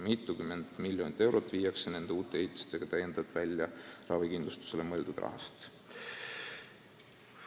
Mitukümmend miljonit eurot viiakse nende uute ehitistega täiendavalt välja ravikindlustusele mõeldud raha?